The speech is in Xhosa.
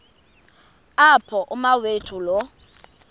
apho umawethu lo